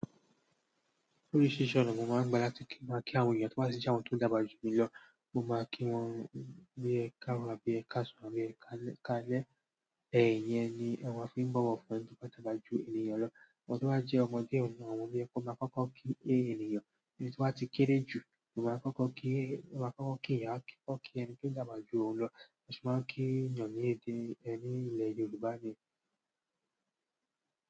Oríṣi ọ̀nà wo máa ń gbálẹ̀ láti kí àwọn ènìyàn tó bá sì ṣàwọn tó dàgbà jù mí lọ? Mo máa ń kí wọ́n ní ẹ̀kaàro abi ẹ̀kasùn, abi ẹ̀kalẹ̀. Ẹ̀yin yẹn ni a fi ń bọ̀wọ̀ fún ẹni tó dàgbà ju ènìyàn lọ. Ọ̀dọ́ wá jẹ́ ọmọdé ọ̀nà, àwọn òní ẹkún máa ń kọ́kọ́ kí ènìyàn ní ẹni tí wọ́n ti kéré jù. Wọn máa ń kọ́kọ́ kí ìyá, kí ọkọ, kí ẹni tí ó dàgbà ju òun lọ. Wọn sì máa ń kí ènìyàn ní èdè ẹni ni ilẹ̀ Yorùbá ni.